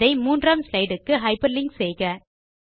இதை 3 ஆம் ஸ்லைடு க்கு ஹைப்பர்லிங்க் செய்க